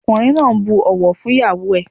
Ọkùnrin náà bu ọ̀wọ̀ fún ìyáwó ẹ̀.